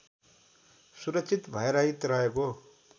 सुरक्षित भयरहित रहेको